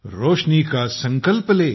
रोशनी का संकल्प ले